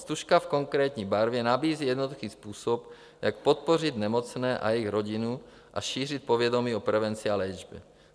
Stužka v konkrétní barvě nabízí jednoduchý způsob, jak podpořit nemocné a jejich rodinu a šířit povědomí o prevenci a léčbě.